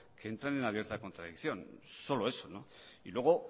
que entran en abierta contradicción solo eso no y luego